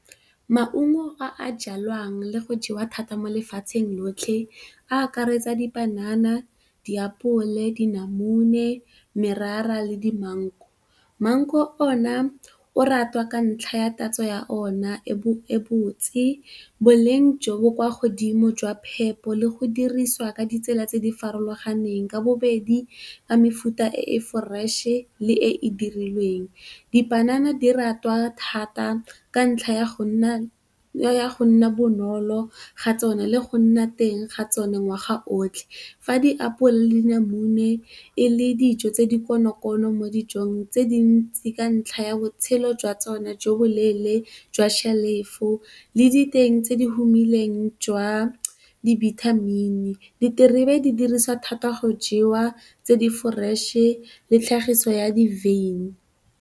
Maungo a a jalwang le go jewa thata mo lefatsheng lotlhe a akaretsa dipanana, diapole, dinamune, merara le di mango. Mango ona o ratwa ka ntlha ya tatso ya ona e botse, boleng jo bo kwa godimo jwa phepo le go dirisiwa ka ditsela tse di farologaneng ka bobedi ka mefuta e e foreše le e e dirilweng. Dipanana di ratwa thata ka ntlha ya go nna ya go nna bonolo ga tsone le go nna teng ga tsone ngwaga otlhe fa di apola le dinamune e le dijo tse di konokono mo dijong tse dintsi ka ntlha ya botshelo jwa tsone jo bo leele jwa shelofo le diteng tse di humileng jwa dibithamini. Diterebe di diriswa thata go jewa, tse di foreše le tlhagiso ya di wyn.